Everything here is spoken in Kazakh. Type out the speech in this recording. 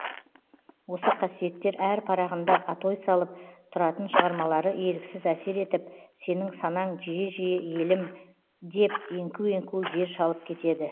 осы қасиеттер әр парағында атой салып тұратын шығармалары еріксіз әсер етіп сенің санаң жиі жиі елім деп еңку еңку жер шалып кетеді